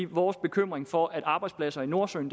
vores bekymring for at arbejdspladser i nordsøen